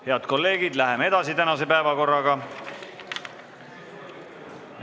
Head kolleegid, läheme edasi tänase päevakorraga.